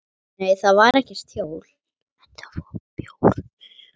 Nei, þar var ekkert hjól.